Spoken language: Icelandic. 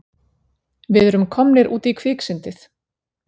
Við erum komnir út í kviksyndið!